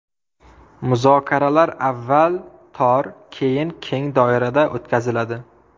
Muzokaralar avval tor, keyin keng doirada o‘tkaziladi.